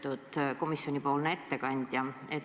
Lugupeetud komisjonipoolne ettekandja!